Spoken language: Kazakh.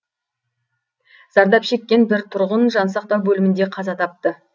зардап шеккен бір тұрғын жансақтау бөлімінде қаза тапты